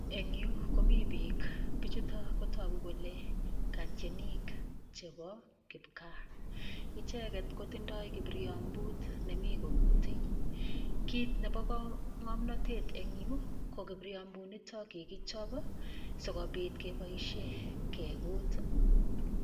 Engyu komi piik, piichutik kotogu kole katienik chebo kipgaa. Icheket ko tindoi kiriabut nemi kokutei. kit nebo ng'omnotet eng yu ko kipriambutnitok kikichop sikopit keboishe kekut.